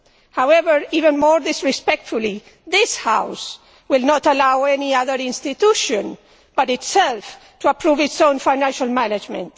However, even more disrespectfully, this House will not allow any other institution but itself to approve its own financial management.